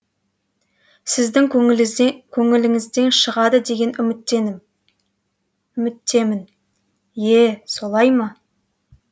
сіздің көңіліңізден шығады деген үміттемін е солай ма